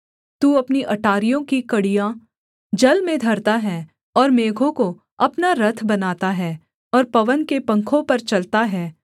तू अपनी अटारियों की कड़ियाँ जल में धरता है और मेघों को अपना रथ बनाता है और पवन के पंखों पर चलता है